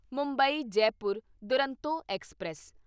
Mumbai Jaipur Duronto express